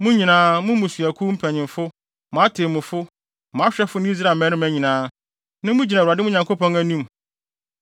Mo nyinaa—mo mmusuakuw mpanyimfo, mo atemmufo, mo ahwɛfo ne Israel mmarima nyinaa, nnɛ mugyina Awurade, mo Nyankopɔn no, anim;